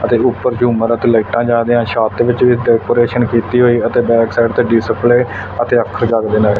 ਅਤੇ ਉੱਪਰ ਦੇ ਰੂਮਾਂ ਤੱਕ ਲਾਈਟਾਂ ਜਾ ਰਹੀਆਂ ਛੱਤ ਵਿੱਚ ਵੀ ਉੱਤੇ ਡੈਕੋਰੇਸ਼ਨ ਕੀਤੀ ਹੋਈ ਅਤੇ ਬੈਕ ਸਾਈਡ ਤੇ ਡਿਸਪਲੇ ਅਤੇ ਅੱਖਰ ਜਾਗਦੇ ਨਜਰ--